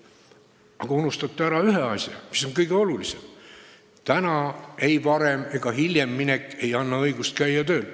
Aga te unustate ära ühe asja, mis on kõige olulisem: täna ei varem ega hiljem minek ei anna õigust käia tööl.